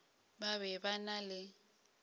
ba be ba na le